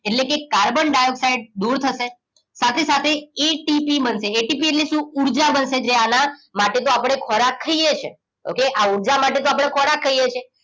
એટલે કે carbon dioxide દૂર થશે સાથે સાથે એટીપી બનશે એટીપી એટલે શું ઉર્જા બનશે જે આના માટે તો આપણે ખોરાક ખાઈએ છીએ okay આ ઉર્જા માટે તો આપણે ખોરાક ખાઈએ છીએ